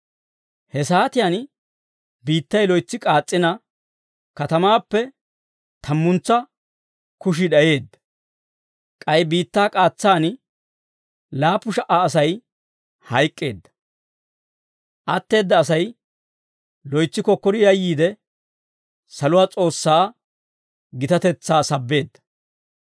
He saatiyaan biittay loytsi k'aas's'ina katamaappe tammuntsa kushii d'ayeedda. K'ay biittaa k'aatsaan laappu sha"a Asay hayk'k'eedda. Atteedda Asay loytsi kokkori yayyiide, saluwaa S'oossaa gitatetsaa sabbeedda.